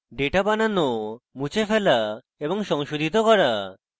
data বানানো মুছে ফেলা এবং সংশোধিত করা